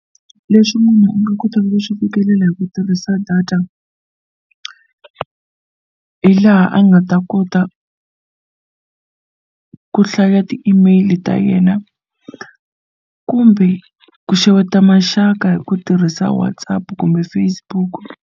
Leswi munhu a nga kotaka ku swi fikelela hi ku tirhisa data hi laha a nga ta kota ku hlaya ti-email ta yena kumbe ku xeweta maxaka hi ku tirhisa WhatsApp kumbe Facebook.